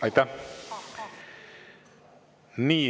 Aitäh!